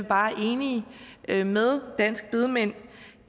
bare enige med med danske bedemænd